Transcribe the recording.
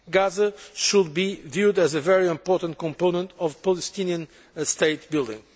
Gaza should be viewed as a very important component of Palestinian state building.